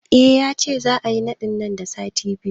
Eh, yace za'a yi naɗin nan da sati biyu